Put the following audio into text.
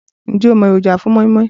Ǹjẹ́ o mo èròjà fun móínmóín